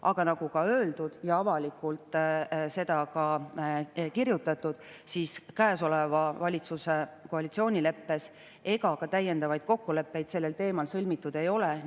Aga nagu öeldud ja avalikult ka kirjutatud, siis käesoleva valitsuse koalitsioonileppes ja ka täiendavaid kokkuleppeid sellel teemal sõlmitud ei ole.